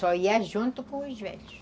Só ia junto com os velhos.